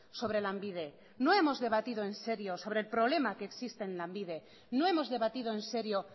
sobre lanbide no hemos debatido en serio sobre el problema que existe en lanbide no hemos debatido en serio